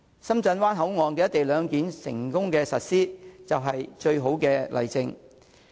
深圳灣口岸"一地兩檢"的成功實施，就是最好的例證。